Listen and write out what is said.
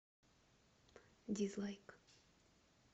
дизлайк